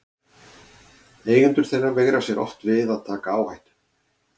Eigendur þeirra veigra sér oft við að taka áhættu.